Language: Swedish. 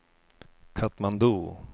Katmandu